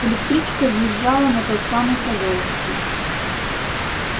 электричка въезжала на тот самый савёловский